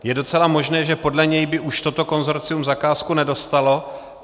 Je docela možné, že podle něj by už toto konsorcium zakázku nedostalo.